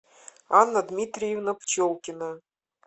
анна дмитриевна пчелкина